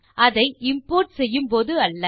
அதை இம்போர்ட் செய்யும் போது அல்ல